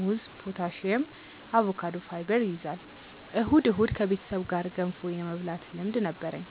ሙዝ ፖታሲየም፣ አቮካዶ ፋይበር ይይዛል። እሁድ እሁድ ከቤተሰብ ጋር ገንፎ የመብላት ልምድ ነበርኝ